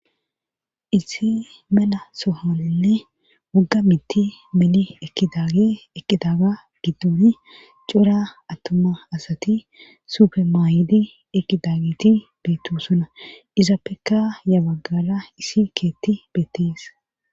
Issi mela sohaninne wogga mitti meli ekidaage eqqidaga giddoni cora attuma asati sufemaayidi eqqidagiti beettosona izappekka ya baggala isi keetti beettees.